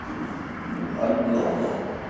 одно но